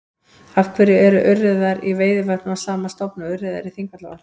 Af hverju eru urriðar í Veiðivötnum af sama stofni og urriðar í Þingvallavatni?